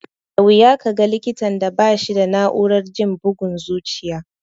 Da wuya ka ga likitan da ba shi da na'urar jin bugun zuciya.